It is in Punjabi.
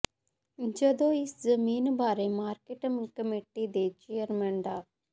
ਜਦੋਂ ਇਸ ਜ਼ਮੀਨ ਬਾਰੇ ਮਾਰਕੀਟ ਕਮੇਟੀ ਦੇ ਚੇਅਰਮੈਨ ਡਾ